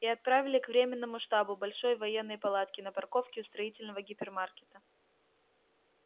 и отправили к временному штабу большой военной палатке на парковке у строительного гипермаркета